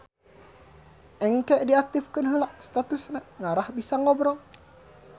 Engke diaktifkeun heula statusna ngarah bisa ngobrol